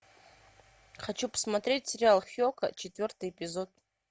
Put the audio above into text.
хочу посмотреть сериал хека четвертый эпизод